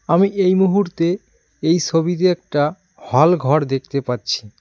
আমি এই মুহূর্তে এই সবিতে একটা হলঘর দেখতে পাচ্ছি।